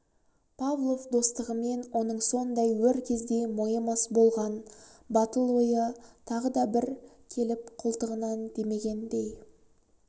павлов достығымен оның сондай өр кезде мойымас болған батыл ойы тағы да бір келіп қолтығынан демегендей